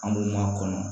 An b'u ma kɔnɔ